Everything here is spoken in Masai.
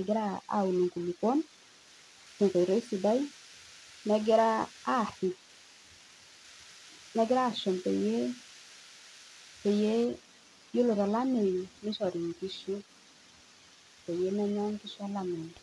egira aun inkulukwon tenkoitoi sidai negira aarrip, negira ashum peyie, peyie yiolo tolameyu nishori inkishu peyie menya inkishu olameyu.